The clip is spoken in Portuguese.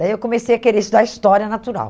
Daí eu comecei a querer estudar História Natural.